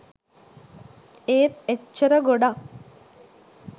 ඒත් එච්චර ගොඩක්